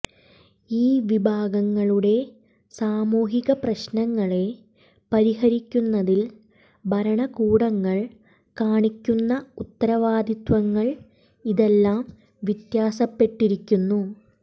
ഈ വിഭാഗങ്ങളുടെ സാമൂഹിക പ്രശ്നങ്ങളെ പരിഹരിക്കുന്നതിൽ ഭരണകൂടങ്ങൾ കാണിക്കുന്ന ഉത്തരവാദിത്വങ്ങൾ ഇതെല്ലാം വ്യത്യാസപ്പെട്ടിരിക്കുന്നു